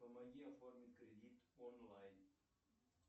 помоги оформить кредит онлайн